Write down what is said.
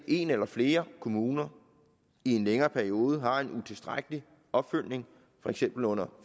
en eller flere kommuner i en længere periode har en utilstrækkelig opfølgning for eksempel under